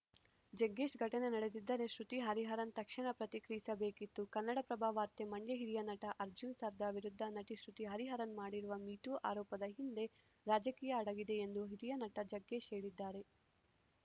ಜಗ್ಗೇಶ್‌ ಘಟನೆ ನಡೆದಿದ್ದರೆ ಶೃತಿ ಹರಿಹರನ್‌ ತಕ್ಷಣ ಪ್ರತಿಕ್ರಿಯಿಸಬೇಕಿತ್ತು ಕನ್ನಡಪ್ರಭ ವಾರ್ತೆ ಮಂಡ್ಯ ಹಿರಿಯ ನಟ ಅರ್ಜುನ್‌ ಸರ್ಜಾ ವಿರುದ್ಧ ನಟಿ ಶೃತಿ ಹರಿಹರನ್‌ ಮಾಡಿರುವ ಮೀಟೂ ಆರೋಪದ ಹಿಂದೆ ರಾಜಕೀಯ ಅಡಗಿದೆ ಎಂದು ಹಿರಿಯ ನಟ ಜಗ್ಗೇಶ್‌ ಹೇಳಿದ್ದಾರೆ